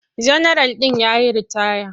Janaral ɗin ya yi ritaya.